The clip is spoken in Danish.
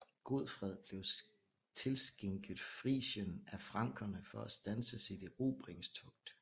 Godfred blev tilskænket Frisien af frankerne for at standse sit erobringstogt